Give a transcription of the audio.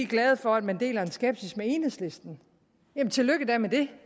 glade for at man deler en skepsis med enhedslisten jamen tillykke da med det